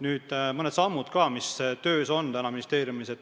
Räägin ka mõningatest sammudest, mis on ministeeriumis töös.